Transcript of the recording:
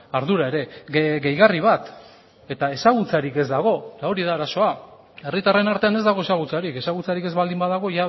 ardura ere gehigarri bat eta ezagutzarik ez dago eta hori da arazoa herritarren artean ez dago ezagutzarik ezagutzarik ez baldin badago